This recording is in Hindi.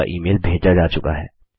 आपका ईमेल भेजा जा चुका है